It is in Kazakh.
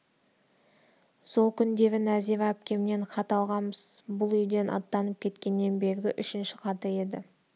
сол күндері нәзира әпкемнен хат алғанбыз бұлүйден аттанып кеткеннен бергі үшінші хаты еді